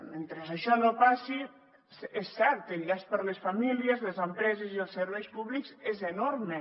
mentre això no passi és cert el llast per a les famílies les empreses i els serveis públics és enorme